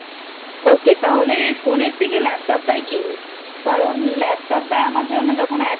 Ok তাহলে Phone এর থেকে Laptop টাই কিনি কারণ Laptop টা আমার জন্য যখন